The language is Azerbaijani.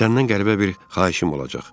Səndən qəribə bir xahişim olacaq.